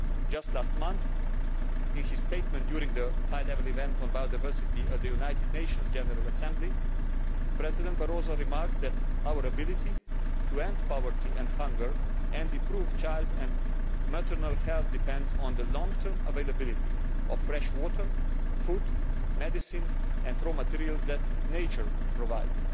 Just last month in his statement during the High Level Event on Biodiversity at the United Nations General Assembly, President Barroso remarked that our ability to end poverty and hunger and improve child and maternal health depends on the long term availability of fresh water, food, medicine and raw materials that nature provides.